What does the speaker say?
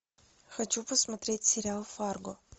хочу посмотреть сериал фарго